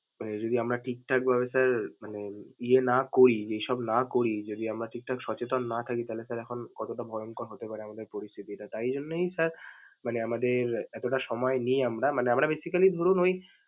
মানে যদি আমরা ঠিক ঠাক ভাবে sir মানে ইয়ে না করি যে সব না করি, যদি আমরা ঠিক ঠাক সচেতন না থাকি তাহলে sir এখন কতটা ভয়ংকর হতে পারে আমাদের পরিস্থিতিটা. তাই জন্যই sir মানে আমাদের এতোটা সময় নিয়ে আমরা মানে আমরা basically ধরুন ওই।